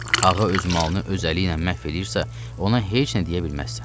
Ağa öz malını öz əliylə məhv eləyirsə, ona heç nə deyə bilməzsən.